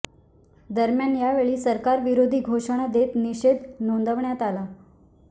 दरम्यान यावेळी सरकार विरोधी घोषणा देत निषेध नोंदविण्यात आला